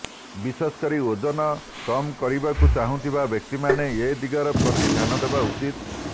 ବିଶେଷ କରି ଓଜନ କମ କରିବାକୁ ଚାହୁଁଥିବା ବ୍ୟକ୍ତିମାନେ ଏହି ଦିଗ ପ୍ରତି ଧ୍ୟାନ ଦେବା ଉଚିତ୍